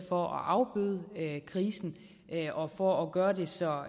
for at afbøde krisen og for at gøre det så